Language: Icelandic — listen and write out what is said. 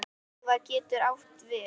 Slaufa getur átt við